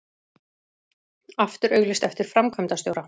Aftur auglýst eftir framkvæmdastjóra